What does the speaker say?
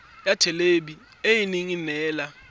ya thelebi ene e neela